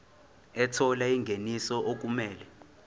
ethola ingeniso okumele